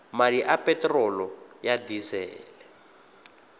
madi a peterolo ya disele